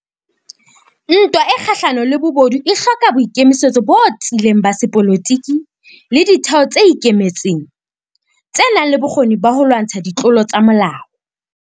Ntwa e kgahlano le bobodu e hloka boikemisetso botiileng ba sepolotiki le ditheo tse ikemetseng, tsenang le bokgoni ba ho lwantsha ditlolo tsa molao.